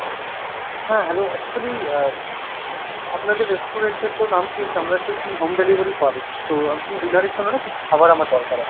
হ্যাঁ hello actually আহ আপনাদের restaurant এর তো নাম শুনেছি, আমরা শুনেছি home delivery করে। তো dinner এর জন্য না কিছু খাবার আমার দরকার আছে।